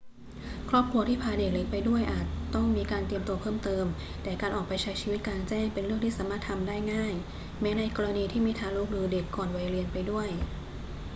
ครอบครัวที่พาเด็กเล็กไปด้วยอาจต้องมีการเตรียมตัวเพิ่มเติม แต่การออกไปใช้ชีวิตกลางแจ้งเป็นเรื่องที่สามารถทำได้ง่ายแม้ในกรณีที่มีทารกหรือเด็กก่อนวัยเรียนไปด้วย